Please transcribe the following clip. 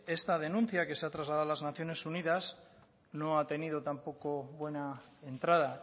esta denuncia que se ha trasladado a las naciones unidas no ha tenido tampoco buena entrada